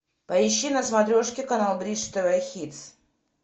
поищи на смотрешке канал бридж тв хитс